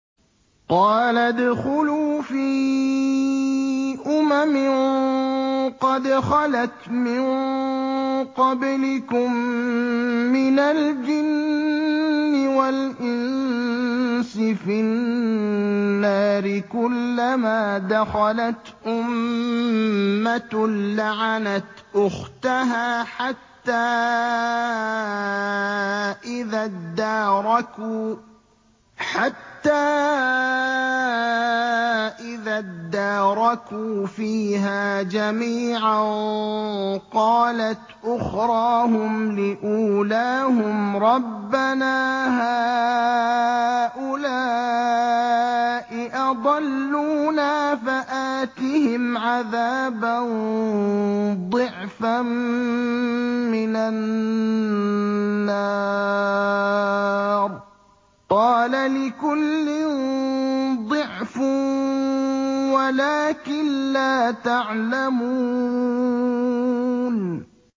قَالَ ادْخُلُوا فِي أُمَمٍ قَدْ خَلَتْ مِن قَبْلِكُم مِّنَ الْجِنِّ وَالْإِنسِ فِي النَّارِ ۖ كُلَّمَا دَخَلَتْ أُمَّةٌ لَّعَنَتْ أُخْتَهَا ۖ حَتَّىٰ إِذَا ادَّارَكُوا فِيهَا جَمِيعًا قَالَتْ أُخْرَاهُمْ لِأُولَاهُمْ رَبَّنَا هَٰؤُلَاءِ أَضَلُّونَا فَآتِهِمْ عَذَابًا ضِعْفًا مِّنَ النَّارِ ۖ قَالَ لِكُلٍّ ضِعْفٌ وَلَٰكِن لَّا تَعْلَمُونَ